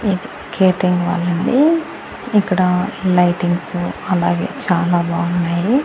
ఇది కేటరింగ్ వాళ్ళండి ఇక్కడ లైటింగ్స్ అలాగే చాలా బాగున్నాయి.